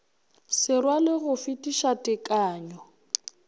se rwale go fetiša tekanyo